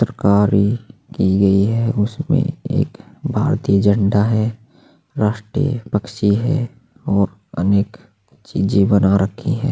तरकारी की गई है उसमे एक भारतीय झंडा है राष्ट्रिय पक्षी है और अनेक चीजे बना रखी है।